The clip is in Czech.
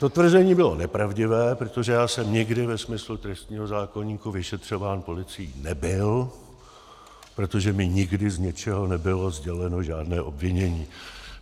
To tvrzení bylo nepravdivé, protože já jsem nikdy ve smyslu trestního zákoníku vyšetřován policií nebyl, protože mi nikdy z ničeho nebylo sděleno žádné obvinění.